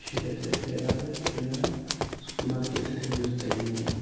ishigetenni heeranoha hidhinanniha superimaarketete mirte yineemmo.